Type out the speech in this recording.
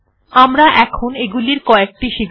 আমরা এখন এগুলির কএকটি শিখব